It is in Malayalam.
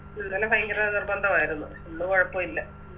ഇന്നലെ ഭയങ്കര നിർബന്ധാവരുന്നു ഇന്ന് കൊഴപ്പോല്ല